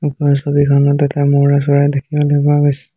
ওপৰৰ ছবিখনত এটা ম'ৰাচৰাই দেখিবলৈ পোৱা গৈছ--